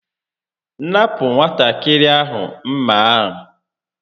Napụ nwatakịrị ahụ m̀mà a!